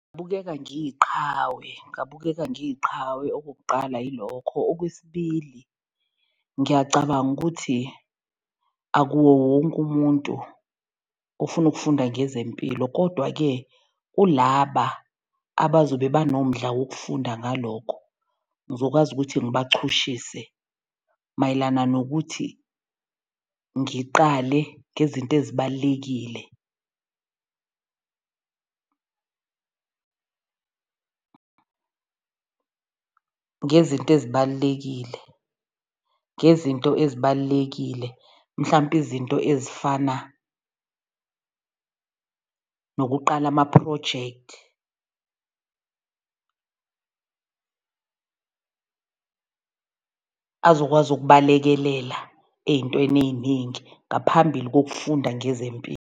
Bukeka ngiyiqhawe ngabukeka ngiyiqhawe okokuqala yilokho. Okwesibili ngiyacabanga ukuthi akuwo wonke umuntu ofuna ukufunda ngezempilo kodwa-ke kulaba abazobe banomdla wokufunda ngalokho ngizokwazi ukuthi ngibachushise mayelana nokuthi ngiqale ngezinto ezibalulekile, ngezinto ezibalulekile ngezinto ezibalulekile mhlampe izinto ezifana nokuqala amaphrojekthi azokwazi ukubalekelela ey'ntweni ey'ningi ngaphambili kokufunda ngezempilo.